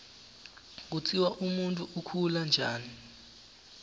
kutsi umuntfu ukhula njani